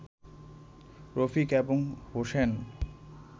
রফিক এবং হোসেন